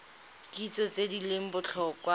kitso tse di leng botlhokwa